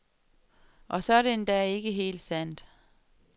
Og så er det endda ikke helt sandt.